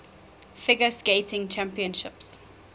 figure skating championships